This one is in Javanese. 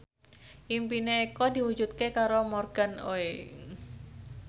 impine Eko diwujudke karo Morgan Oey